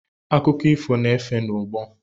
Akụkọ ifo, na-efe n'ọgbọ.